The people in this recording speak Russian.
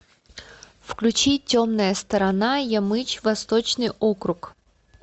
включи темная сторона ямыч восточный округ